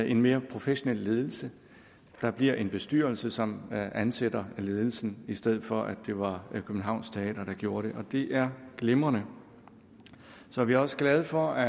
en mere professionel ledelse der bliver en bestyrelse som ansætter ledelsen i stedet for at det var københavns teater der gjorde det og det er glimrende så er vi også glade for at